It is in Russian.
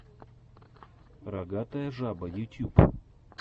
рогатая жаба ютюб